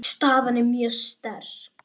Staðan er mjög sterk.